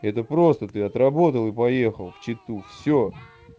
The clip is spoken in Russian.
это просто ты отработал и поехал в читу все